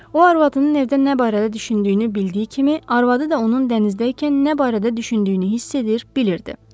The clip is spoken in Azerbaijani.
O arvadının evdə nə barədə düşündüyünü bildiyi kimi, arvadı da onun dənizdəykən nə barədə düşündüyünü hiss edir, bilirdi.